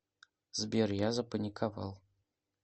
сбер я запаниковал